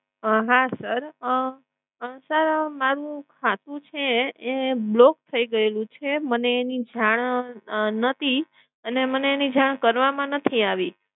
અમ હા sir અમ સર મારુ ખાતું છે એ block થઈ ગયેલું છે. મને એની જાણ નતી અને મને એની જાણ કરવામાં નથી આવી.